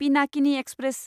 Pinakini express